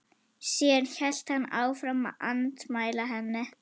Síðan hélt hann áfram að andmæla henni.